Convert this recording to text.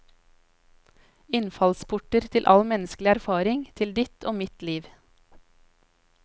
Innfallsporter til alle menneskers erfaring, til ditt og mitt liv.